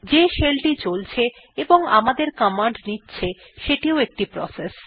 যে শেল টি চলছে এবং আমাদের কমান্ড নিচ্ছে সেটিও একটি প্রসেস